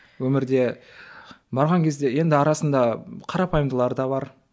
өмірде барған кезде енді арасында қарапайымдылары да бар